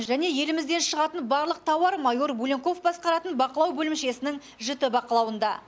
және елімізден шығатын барлық тауар майор буленков басқаратын бақылау бөлімшесінің жіті бақылауында